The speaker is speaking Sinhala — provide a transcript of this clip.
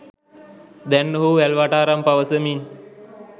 දැන් ඔහු වැල්වටාරම් පවසමින්